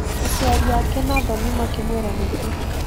Aciari ake na thoni makĩmwĩra nĩguo.